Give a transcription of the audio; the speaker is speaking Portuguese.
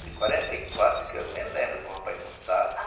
de quarenta e quatro, que eu me lembro que o papai contava.